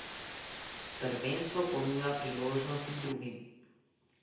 Prvenstvo ponuja priložnosti drugim.